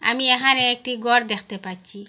আমি এখানে একটি গর দেখতে পাচ্চি।